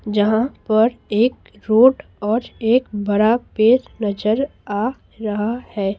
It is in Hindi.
जहां परएक रोड और एक बरा पेर नजर आ रहा है।